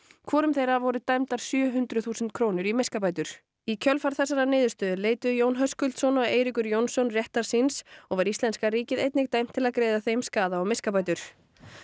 hvorum þeirra voru dæmdar sjö hundruð þúsund krónur í miskabætur í kjölfar þessarar niðurstöðu leituðu Jón Höskuldsson og Eiríkur Jónsson réttar síns og var íslenska ríkið einnig dæmt til að greiða þeim skaða og miskabætur